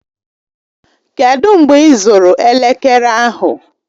Kedụ mgbe ịzụrụ elekere ahụ?